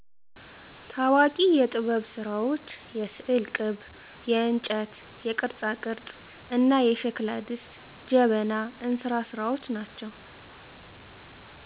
ታዋቂ የጥበብስራዎች የስዕል ቅብ :የእንጨት ቅርፃቅርፅ: እና የሸክላ ድስት: ጀበና :እንስራ ስራዎች ናቸው